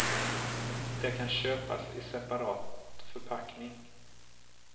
Det kan köpas i separat förpackning.